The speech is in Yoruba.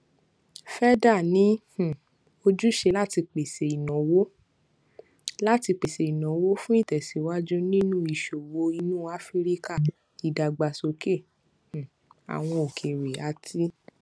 feda ní um ojúṣe láti pèsè ìnáwó láti pèsè ìnáwó fún ìtèsíwájú nínú ìṣòwò inú áfíríkà ìdàgbàsókè um àwọn okeere àti